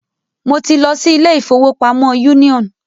Mo ti lọ si ilé ìfọwọ́pamo Union.